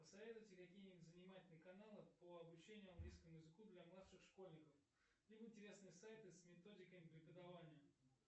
посоветуйте какие нибудь занимательные каналы по обучению английскому языку для младших школьников либо интересные сайты с методиками преподавания